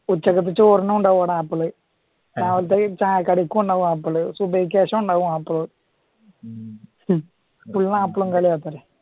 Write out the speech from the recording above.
ഉച്ചക്കത്തെ ചോറിനും ഉണ്ടാകും ആപ്പിള്. രാവിലത്തെ ചായ കടിക്കും ഉണ്ടാകും ആപ്പിള് സുബൈക്ക്‌ ശേഷവും ഉണ്ടാകും ആപ്പിള് ഫുൾ ആപ്പിളും കളിയാ